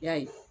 I y'a ye